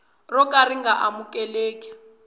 ro ka ri nga amukeleki